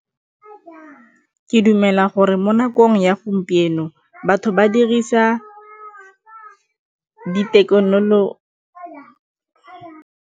Ke dumela gore mo nakong ya gompieno batho ba dirisa di .